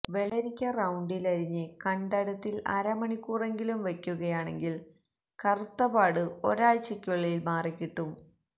വെള്ളരിക്ക റൌണ്ടിൽ അരിഞ്ഞ് കണ്തടത്തിൽ അരമണിക്കൂറെങ്കിലും വയ്ക്കുകയാണെങ്കിൽ കറുത്ത പാട് ഒരാഴ്ചയ്ക്കുള്ളിൽ മാറിക്കിട്ടും